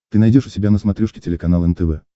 ты найдешь у себя на смотрешке телеканал нтв